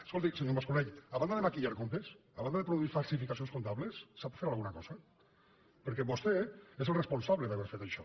escolti senyor mas colell a banda de maquillar comp tes a banda de produir falsificacions comptables sap fer alguna cosa perquè vostè és el responsable d’haver fet això